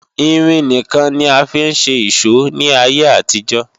Irin nìkan ni a fi ń ṣe ìṣó ní ayé àtijó